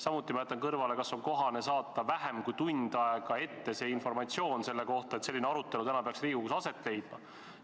Samuti jätan ma kõrvale, kas on kohane saata vähem kui tund aega ette informatsioon selle kohta, et selline arutelu peaks täna Riigikogus aset leidma.